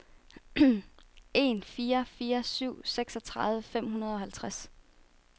en fire fire syv seksogtredive fem hundrede og halvtreds